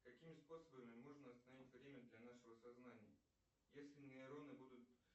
какими способами можно остановить время для нашего сознания если нейроны будут